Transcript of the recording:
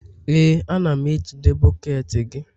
Ee, a na m ejide bọket gị